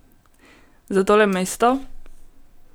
Za tole mesto?